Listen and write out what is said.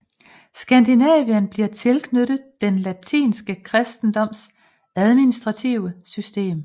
Skandinavien bliver tilknyttet den latinske kristendoms administrative system